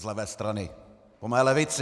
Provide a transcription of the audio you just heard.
Z levé strany, po mé levici!